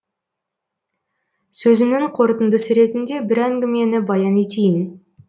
сөзімнің қорытындысы ретінде бір әңгімені баян етейін